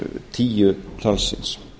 tíu talsins